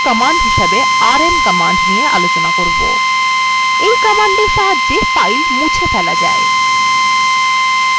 আমরা পরবর্তী command rm command দেখব এই command সাহায্যে files মুছে ফেলা যায়